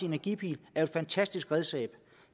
energipil er et fantastisk redskab